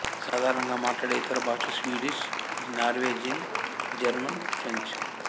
సాధారణంగా మాట్లాడే ఇతర భాషలు స్వీడిష్ నార్వేజియన్ జర్మన్ ఫ్రెంచ్